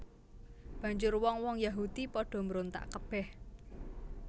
Banjur wong wong Yahudi padha mbrontak kebèh